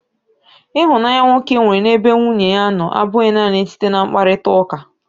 Ịhụnanya nwoke nwere n'ebe nwunye ya nọ abụghị naanị site na mkparịtaụka.